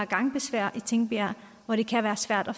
gangbesværet i tingbjerg og det kan være svært at